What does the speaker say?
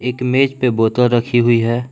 एक मेज पे बोतल रखी हुई है।